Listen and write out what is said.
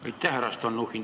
Aitäh, härra Stalnuhhin!